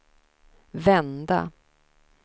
vända